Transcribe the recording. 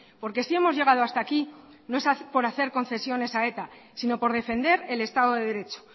porque si hemos llegado hasta aquí no es por hacer concesiones a eta sino por defender el estado de derecho